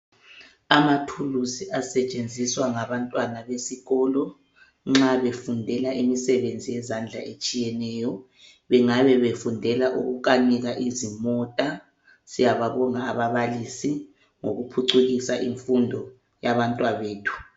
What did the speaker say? Amathuluzi asetshenziswa ngabantwana besikolo nxa befundela imisebenzi yezandla etshiyeneyo. Bengabe befundela ukukanika izimota. Siyababonga ababalisi ngokuphucukisa imfundo yabantwabethu.